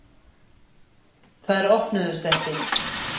Þær opnuðust ekki.